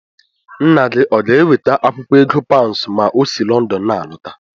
Nna gị ọ ga-eweta akwụkwọ ego paụnsụ ma o si Lọndọn n'alọta?